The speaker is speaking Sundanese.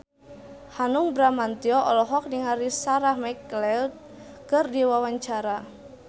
Hanung Bramantyo olohok ningali Sarah McLeod keur diwawancara